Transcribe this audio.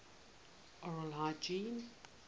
oral hygiene